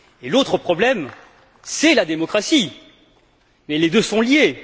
L'autre problème, c'est la démocratie, et les deux sont liés.